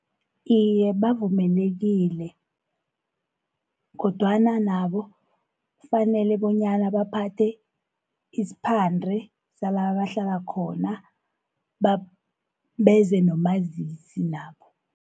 Iye bavumelekile, kodwana nabo kufanele bonyana baphathe isiphande sala abahlala khona beze nomazisi nabo.